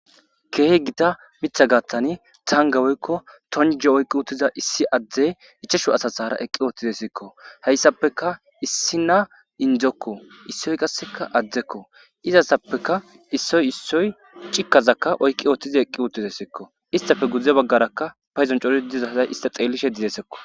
keehi gita mitha gaathani taanga woykko tonje oyqqi uttiza issi adde ichashu asasara eqqi oothtize siikko hayssapeka issi na indzekko issoy qasseka addekko izasappeka issoy issoy cikkazakka oykqi ootthize eqqi uottide siikko istafe gudzde baggarakka payzon coti dizazay ista xeellishe didesekko